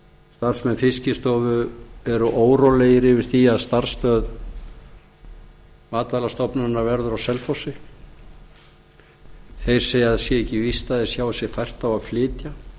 starfsmenn fiskistofu eru órólegir yfir því að starfsemi matvælastofnunar verður á selfossi þeir segja að það sé ekki víst að þeir sjái sér fært að flytja